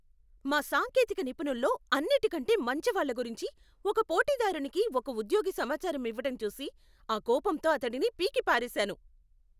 మా సాంకేతిక నిపుణుల్లో అన్నిటికంటే మంచివాళ్ల గురించి ఒక పోటీదారునికి ఒక ఉద్యోగి సమాచారం ఇవ్వటం చూసి, ఆ కోపంతో అతడిని పీకిపారేసాను.